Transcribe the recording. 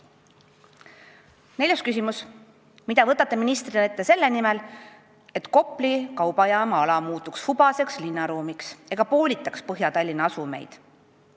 Neljas küsimus: "Mida võtate ministrina ette selle nimel, et Kopli kaubajaama ala muutuks hubaseks linnaruumiks ega poolitaks Põhja-Tallinna asumeid ?